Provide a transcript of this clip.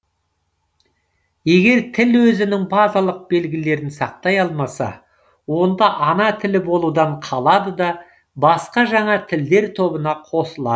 егер тіл өзінің базалық белгілерін сақтай алмаса онда ана тілі болудан қалады да басқа жаңа тілдер тобына қосылады